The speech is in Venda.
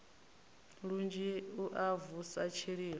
lunzhi u a vusa tshililo